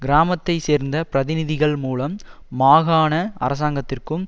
கிராமத்தை சேர்ந்த பிரதிநிதிகள் மூலம் மாகாண அரசாங்கத்திற்கும்